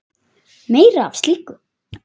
Meira af slíku!